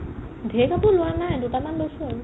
ঢেৰ কাপোৰ লোৱা নাই দুটমান লৈছো আৰু